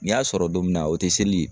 Ni y'a sɔrɔ don min na, o te seli ye?